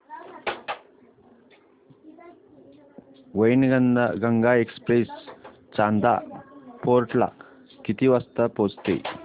Wainganga express Chanda fort ला किती वाजता पोहचते